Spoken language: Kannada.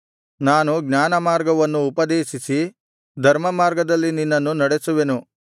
ನಾನು ಜ್ಞಾನಮಾರ್ಗವನ್ನು ಉಪದೇಶಿಸಿ ಧರ್ಮಮಾರ್ಗದಲ್ಲಿ ನಿನ್ನನ್ನು ನಡೆಸುವೆನು